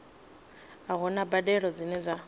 a huna mbadelo dzine dza